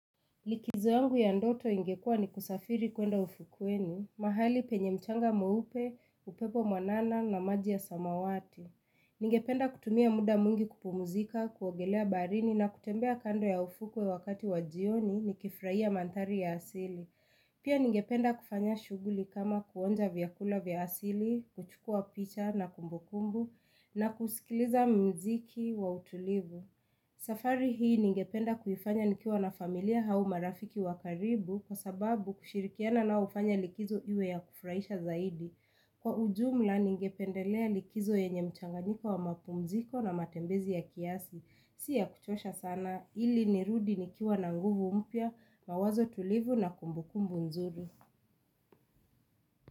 Likizo yangu ya ndoto ingekua ni kusafiri kuenda ufukweni, mahali penye mchanga meupe, upepo mwanana na maji ya samawati. Ningependa kutumia muda mwingi kupumzika, kuogelea baharini na kutembea kando ya ufukwe wakati wajioni ni kifraia mandhari ya asili. Pia ningependa kufanya shughuli kama kuonja vyakula vya asili, kuchukua picha na kumbukumbu na kusikiliza mziki wa utulivu. Safari hii ningependa kuifanya nikiwa na familia au marafiki wakaribu kwa sababu kushirikiana nao hufanya likizo iwe ya kufraisha zaidi. Kwa ujumla ningependelea likizo yenye mchanganiko wa mapumziko na matembezi ya kiasi. Si ya kuchosha sana ili nirudi nikiwa na nguvu mpya mawazo tulivu na kumbukumbu nzuri.